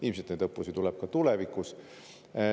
Ilmselt neid õppusi tuleb ka tulevikus.